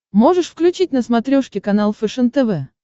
можешь включить на смотрешке канал фэшен тв